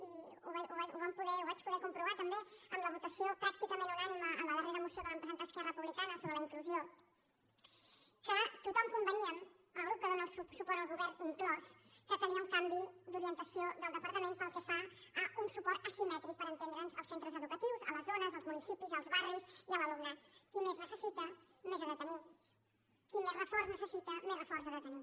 i ho vam ho vaig poder comprovar també amb la votació pràcticament unànime a la dar·rera moció que vam presentar esquerra republicana sobre la inclusió que tothom conveníem el grup que dóna suport al govern inclòs que calia un canvi d’ori·entació del departament pel que fa a un suport asimè·tric per entendre’ns als centres educatius a les zones als municipis als barris i a l’alumnat qui més neces·sita més ha de tenir qui més reforç necessita més re·forç ha de tenir